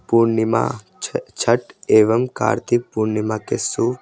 पूर्णिमा छ छठ एवं कार्तिक पूर्णिमा के सु--